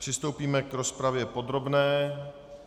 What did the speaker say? Přistoupíme k rozpravě podrobné.